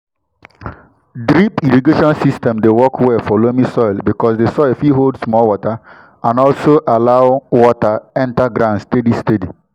drip irrigation system dey work well for loamy soil because di soil fit hold small water and also allow water enter ground steady steady.